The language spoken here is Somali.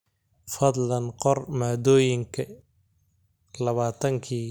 fadlan qor maadooyinka labaatankii iimayl ee ugu dambeeyay ee la helay